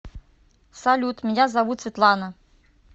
салют меня зовут светлана